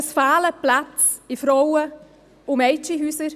Es fehlen Plätze in Frauen- und Mädchenhäusern;